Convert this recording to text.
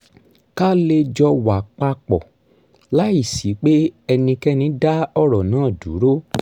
ká lè jọ wà pa pọ̀ láìsí pé ẹnikẹ́ni dá ọ̀rọ̀ náà dúró